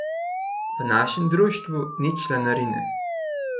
V našem društvu ni članarine.